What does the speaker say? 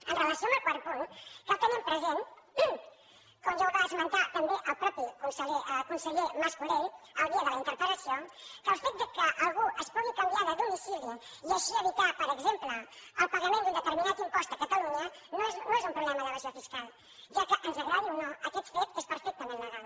amb relació al quart punt cal tenir present com ja ho va esmentar també el mateix conseller mas colell el dia de la interpel·lació que el fet que algú es pugui canviar de domicili i així evitar per exemple el pagament d’un determinat impost a catalunya no és un problema d’evasió fiscal ja que ens agradi o no aquest fet és perfectament legal